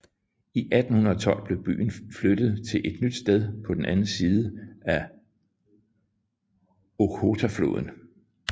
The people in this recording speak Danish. I 1812 blev byen flyttet til et nyt sted på den anden side af Okhotafloden